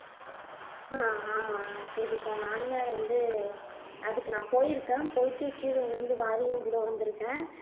அஹ் ஆமா ஸ்ருதிகா நானுமே அதை வந்து அதுக்கு நான் போயிருக்கேன் போயிட்டு கீழ விழுந்து வாரியும் கூட வந்துருக்கேன்